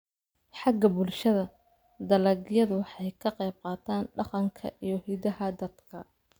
Xagga bulshada, dalagyadu waxay ka qaybqaataan dhaqanka iyo hiddaha dadka.